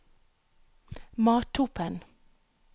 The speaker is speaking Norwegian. Mathopen